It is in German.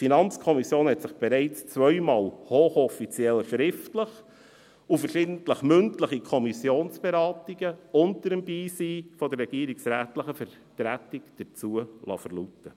Die FiKo liess sich bereits zweimal hoch offiziell schriftlich und verschiedentlich mündlich in Kommissionsberatungen im Beisein der regierungsrätlichen Vertretung dazu verlauten.